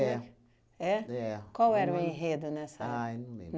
É? É. Qual era o enredo nessa época? Aí não lembro